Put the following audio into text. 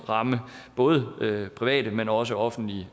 ramme både private men også offentlige